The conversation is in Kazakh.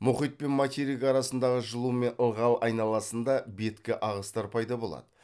мұхит пен материк арасындағы жылу мен ылғал айналасында беткі ағыстар пайда болады